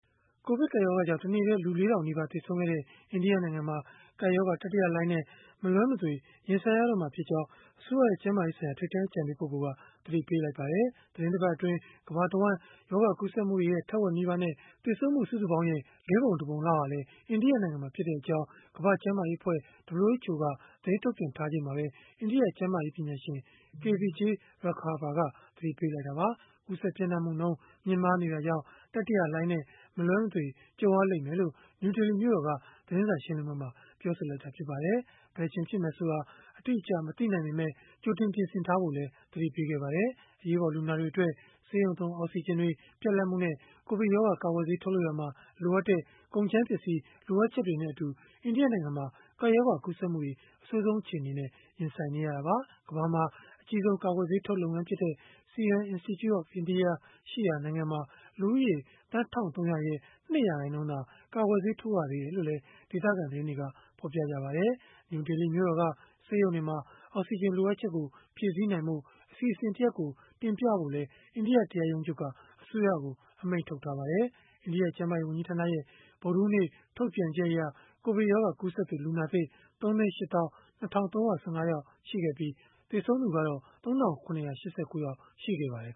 ကိုဗစ်ကပ်ရောဂါကြောင့် တနေ့တည်း လူ ၄ ထောင်နီးပါး သေဆုံးခဲ့တဲ့ အိန္ဒိယနိုင်ငံမှာ ကပ်ရောဂါ တတိယလှိုင်းနဲ့ မလွဲမသွေ ရင်ဆိုင်ရတော့မှာဖြစ်ကြောင်း အစိုးရရဲ့ ကျန်းမာရေးဆိုင်ရာ ထိပ်တန်းအကြံပေး ပုဂ္ဂိုလ်က သတိပေးလိုက်ပါတယ်။ သီတင်းတပတ်အတွင်း ကမ္ဘာတဝန်း ရောဂါကူးစက်မှုတွေရဲ့ ထက်ဝက်နီးပါးနဲ့ သေဆုံးမှု စုစုပေါင်းရဲ့ ၄ ပုံ ၁ ပုံလောက်ဟာ အိန္ဒိယနိုင်ငံမှာဖြစ်ကြောင်း ကမ္ဘာ့ကျန်းမာရေးအဖွဲ့ (WHO) က သတင်းထုတ်ပြန်ထားချိန်မှာပဲ အိန္ဒိယကျန်းမာရေး ပညာရှင် K. Vijay Raghava ကလည်း သတိပေးလိုက်တာပါ။ ကူးစက်ပျံ့နှံ့မှုနှုန်း မြင့်မားနေတာကြောင့် တတိယလှိုင်းနဲ့ မလွဲမသွေ ကြုံရလိမ့်မယ်လို့ နယူးဒေလီမြို့တော်က သတင်းစာ ရှင်းလင်းပွဲမှာ ပြောခဲ့တာ ဖြစ်ပါတယ်။ ဘယ်အချိန် ဖြစ်မယ်ဆိုတာ အတိအကျ မသိနိုင်ပေမဲ့ ကြိုတင်ပြင်ဆင်ထားဖို့ လိုတယ်လို့လည်း သတိပေးခဲ့ပါတယ်။ အရေးပေါ် လူနာတွေအတွက် ဆေးရုံသုံး အောက်စီဂျင်တွေ ပြတ်လပ်မှုနဲ့ ကိုဗစ်ရောဂါ ကာကွယ်ဆေး ထုတ်လုပ်ရာမှာ လိုအပ်တဲ့ ကုန်ကြမ်းပစ္စည်း လိုအပ်ချက်တွေနဲ့အတူ အိန္ဒိယနိုင်ငံမှာ ကပ်ရောဂါကူးစက်မှုတွေ အဆိုးဆုံးအခြေအနေနဲ့ ရင်ဆိုင်နေရတာပါ။ ကမ္ဘာမှာ အကြီးဆုံး ကာကွယ်ဆေးထုတ်လုပ်ငန်းဖြစ်တဲ့ Serum Institute of India ရှိရာ နိုင်ငံမှာ လူဦးရေသန်း ၁,၃၀၀ ရဲ့ ၂ ရာခိုင်နှုန်းသာ ကာကွယ်ဆေး ထိုးရသေးတယ်လို့လည်း ဒေသခံသတင်းတွေက ဖော်ပြပါတယ်။ နယူးဒေလီ မြို့တော်က ဆေးရုံတွေမှာ အောက်စီဂျင် လိုအပ်ချက်ကို ဖြည့်ဆည်းနိုင်ဖို့ အစီအစဉ်တရပ်ကို တင်ပြဖို့လည်း အိန္ဒိယတရားရုံးချုပ်က အစိုးရကို အမိန့်ထုတ်ထားပါတယ်။ အိန္ဒိယ ကျန်းမာရေးဝန်ကြီးဌာနရဲ့ ဗုဒ္ဓဟူးနေ့ ထုတ်ပြန်ချက်အရ ကိုဗစ်ရောဂါ ကူးစက်သူ လူနာသစ် ၃၈၂,၃၁၅ ယောက် ရှိခဲ့ပြီး၊ သေဆုံးသူ ၃,၇၈၉ ယောက် ရှိခဲ့ပါတယ်